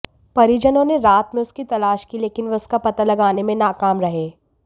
परिजनों ने रात में उसकी तलाश की लेकिन वे उसका पता लगाने में नाकाम रहे